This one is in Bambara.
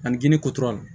Ani gini kotura